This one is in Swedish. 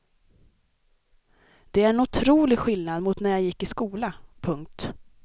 Det är en otrolig skillnad mot när jag gick i skola. punkt